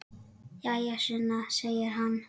Jæja, Sunna, segir hann.